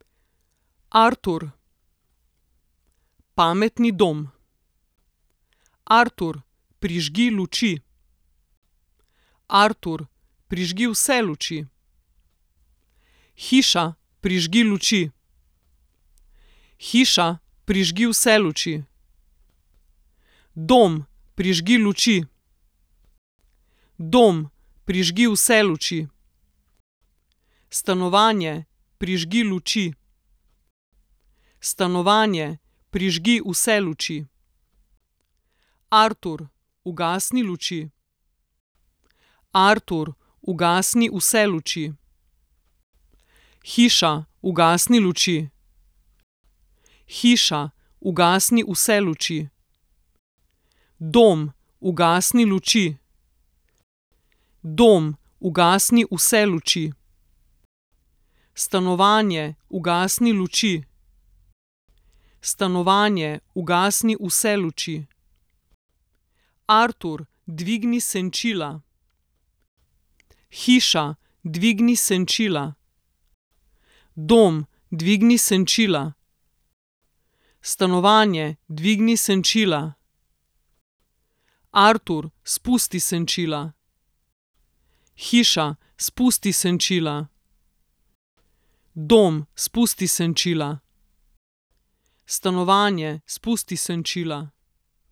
Artur. Pametni dom. Artur, prižgi luči. Artur, prižgi vse luči. Hiša, prižgi luči. Hiša, prižgi vse luči. Dom, prižgi luči. Dom, prižgi vse luči. Stanovanje, prižgi luči. Stanovanje, prižgi vse luči. Artur, ugasni luči. Artur, ugasni vse luči. Hiša, ugasni luči. Hiša, ugasni vse luči. Dom, ugasni luči. Dom, ugasni vse luči. Stanovanje, ugasni luči. Stanovanje, ugasni vse luči. Artur, dvigni senčila. Hiša, dvigni senčila. Dom, dvigni senčila. Stanovanje, dvigni senčila. Artur, spusti senčila. Hiša, spusti senčila. Dom, spusti senčila. Stanovanje, spusti senčila.